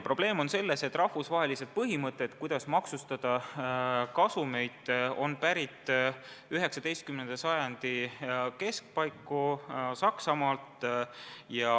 Probleem on selles, et rahvusvahelised põhimõtted, kuidas maksustada kasumeid, on pärit 19. sajandi keskpaigast Saksamaalt.